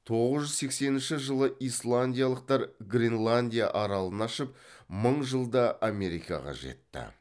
тоғыз жүз сексенінші жылы исландиялықтар гренландия аралын ашып мың жылда америкаға жетті